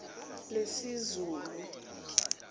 lesizulu